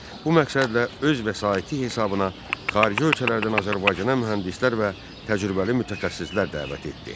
Bu məqsədlə öz vəsaiti hesabına xarici ölkələrdən Azərbaycana mühəndislər və təcrübəli mütəxəssislər dəvət etdi.